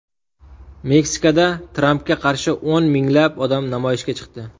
Meksikada Trampga qarshi o‘n minglab odam namoyishga chiqdi.